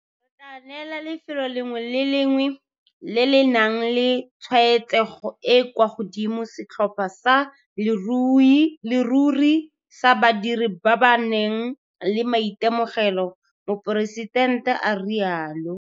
Re tla neela lefelo le lengwe le le lengwe le le nang le tshwaetsego e e kwa godimo setlhopha sa leruri sa badiri ba ba nang le maitemogelo, Moporesitente a rialo.